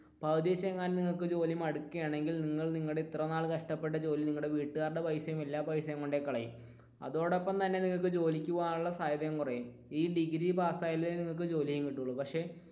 പകുതി വെച്ച് എങ്ങാനും ജോലി മടുക്കുകയാണെങ്കിൽ നിങ്ങൾ നിങ്ങളുടെ ഇത്രയും നാൾ കഷ്ടപ്പെട്ട ജോലി നിങ്ങളുടെ വീട്ടുകാരുടെ പൈസ എല്ലാം പൈസയും കൊണ്ടുപോയി കളയും. അതോടൊപ്പം തന്നെ നിങ്ങൾക്ക് ജോലിക്ക് പോകാനുള്ള സാധ്യതയും കുറയും ഈ ഡിഗ്രി പാസ്സായെങ്കിലേ നിങ്ങൾക്ക് ജോലിയും കിട്ടുകയുള്ളു പക്ഷെ